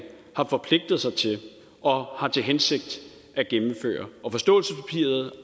har forpligtet sig til og har til hensigt at gennemføre og forståelsespapiret